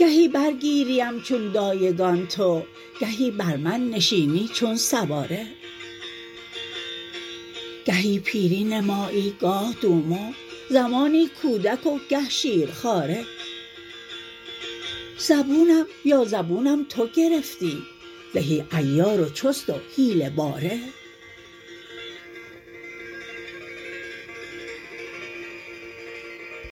گهی بر گیریم چون دایگان تو گهی بر من نشینی چون سواره گهی پیری نمایی گاه دومو زمانی کودک و گه شیرخواره زبونم یا زبونم تو گرفتی زهی عیار و چست و حیله باره